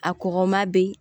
A kɔgɔma bi